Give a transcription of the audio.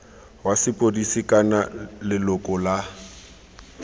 wa sepodisi kana leloko la